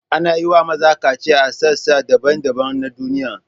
Ana yi wa maza kaciya a sassa daban-daban na duniya.